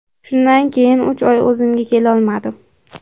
Shundan keyin uch oy o‘zimga kelolmadim.